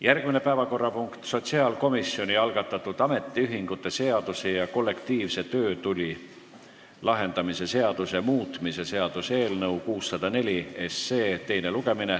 Järgmine päevakorrapunkt: sotsiaalkomisjoni algatatud ametiühingute seaduse ja kollektiivse töötüli lahendamise seaduse muutmise seaduse eelnõu 604 teine lugemine.